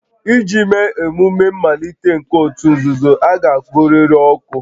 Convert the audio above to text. Iji mee emume mmalite nke òtù nzuzo, a ga-agụrịrị oku